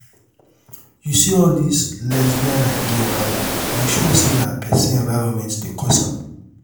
you see all dis lesbian and gay wahala i sure say na person environment dey cause am